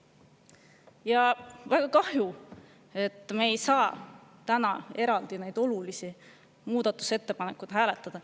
Ja väga kahju, et me ei saa täna eraldi neid olulisi muudatusettepanekuid hääletada.